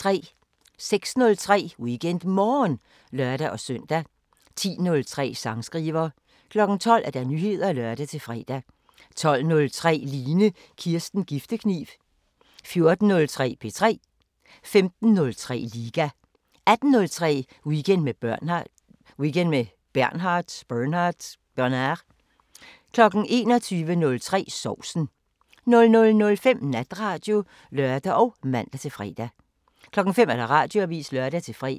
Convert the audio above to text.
06:03: WeekendMorgen (lør-søn) 10:03: Sangskriver 12:00: Nyheder (lør-fre) 12:03: Line Kirsten Giftekniv 14:03: P3 15:03: Liga 18:03: Weekend med Bernhard 21:03: Sovsen 00:05: Natradio (lør og man-fre) 05:00: Radioavisen (lør-fre)